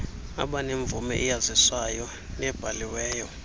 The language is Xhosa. abenemvume eyazisayo nebhaliweyo